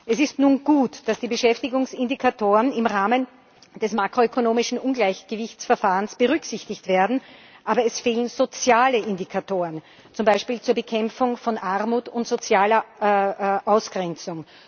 Es ist nun gut, dass die Beschäftigungsindikatoren im Rahmen des makroökonomischen Ungleichgewichtsverfahrens berücksichtigt werden, aber es fehlen soziale Indikatoren, zum Beispiel zur Bekämpfung von Armut und sozialer Ausgrenzung.